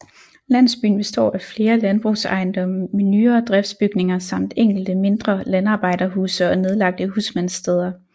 Landsbyen består af flere landbrugsejendomme med nyere driftsbygninger samt enkelte mindre landarbejderhuse og nedlagte husmandssteder